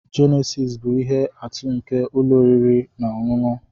Jenesis bụ ihe atụ nke ụlọ oriri na ọṅụṅụ.